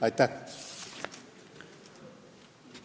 Aitäh!